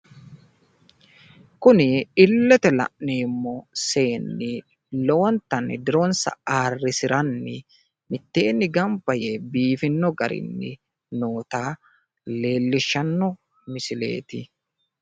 kuni illete la'neemmo seenni lowontanni dironsa ayiirrisiranni mitteenni ganba yee biifinno garinni noota leellishshanno misileeti .